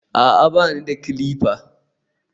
a'a, ba ni da clippers